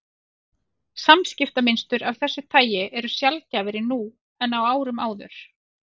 Samskiptamynstur af þessu tagi eru sjaldgæfari nú en á árum áður.